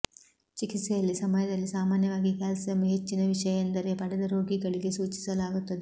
ಚಿಕಿತ್ಸೆಯಲ್ಲಿ ಸಮಯದಲ್ಲಿ ಸಾಮಾನ್ಯವಾಗಿ ಕ್ಯಾಲ್ಸಿಯಂ ಹೆಚ್ಚಿನ ವಿಷಯ ಎಂದರೆ ಪಡೆದ ರೋಗಿಗಳಿಗೆ ಸೂಚಿಸಲಾಗುತ್ತದೆ